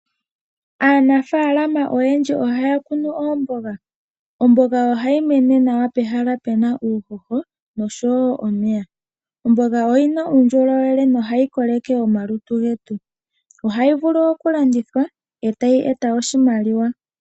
Aanafalama oyendji ohaya kunu oomboga. Ohayi mene nawa pehala mpoka pena uuhoho, oya simana oshoka oyina uundjolowele. Ohayi vulu okulandithwa etayi eta oshimaliwa.